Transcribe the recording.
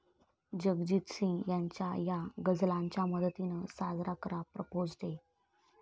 जगजीत सिंग यांच्या या गझलांच्या मदतीनं साजरा करा 'प्रपोझ डे'